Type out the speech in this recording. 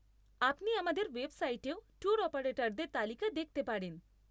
আপনি আমাদের ওয়েবসাইটেও ট্যুর অপারেটরদের তালিকা দেখতে পারেন।